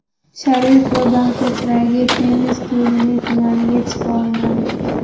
Sharipova Bangkokdagi tennis turnirining finaliga chiqa olmadi.